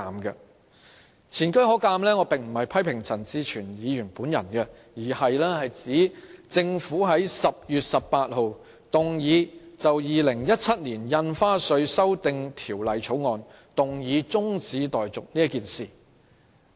我這樣說並不是要批評陳志全議員，而是想指出政府亦曾在10月18日就《2017年印花稅條例草案》提出中止待續議案。